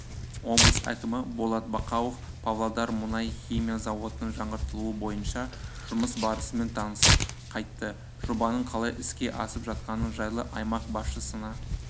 облыс әкімі болат бақауов павлодар мұнай-химия зауытының жаңғыртылуы бойынша жұмыс барысымен танысып қайтты жобаның қалай іске асып жатқаны жайлы аймақ басшысына